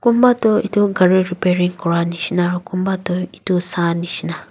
kunba toh edu gari repairing kuranishina aro kunba toh edu sa nishina.